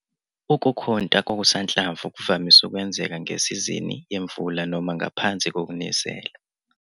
Ukukhunta kokusanhlamvu kuvamise ukwenzeka ngesizini yemvula noma ngaphansi kokunisela.